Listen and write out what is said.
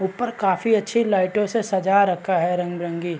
ऊपर काफी अच्छी लाइटो से सजा रखा है रंग-बिरंगी--